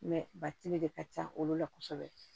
batiri de ka ca olu la kosɛbɛ